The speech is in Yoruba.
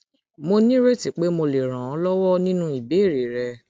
mo nírètí pé mo lè ràn ọ lọwọ nínú ìbéèrè rẹ